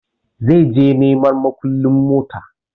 Zai je neman mukullun motan